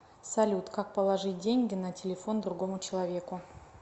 салют как положить деньги на телефон другому человеку